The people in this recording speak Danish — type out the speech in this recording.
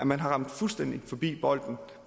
man har ramt fuldstændig forbi bolden